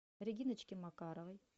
региночке макаровой